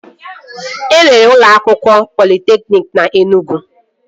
E nwere ụlọ akwụkwọ politekniki na Enugwu